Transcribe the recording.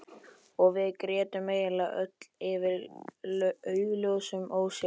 Og við grétum eiginlega öll yfir augljósum ósigrinum.